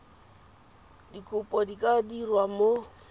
dikopo di ka dirwa mo